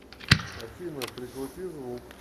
афина прикрути звук